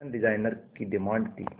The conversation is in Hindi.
फैशन डिजाइनर की डिमांड थी